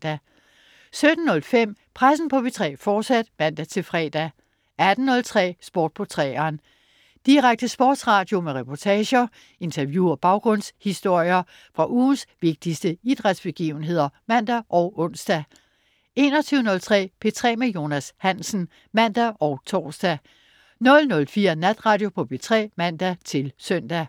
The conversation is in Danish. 17.05 Pressen på P3, fortsat (man-fre) 18.03 Sport på 3'eren. Direkte sportsradio med reportager, interview og baggrundshistorier fra ugens vigtigste idrætsbegivenheder (man og ons) 21.03 P3 med Jonas Hansen (man og tors) 00.05 Natradio på P3 (man-søn)